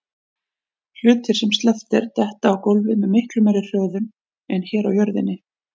Hlutir sem sleppt er detta á gólfið með miklu meiri hröðun en hér á jörðinni.